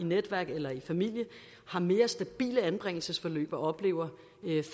netværk eller familie mere stabile anbringelsesforløb og oplever